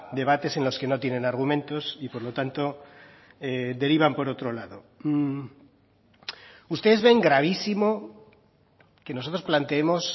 debates en los que no tienen argumentos y por lo tanto derivan por otro lado ustedes ven gravísimo que nosotros planteemos